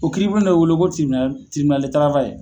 O kiiribulon de be wele ko tiribinali tiribinali de tarawayel